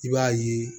I b'a ye